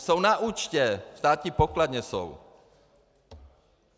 Jsou na účtě, ve státní pokladně jsou.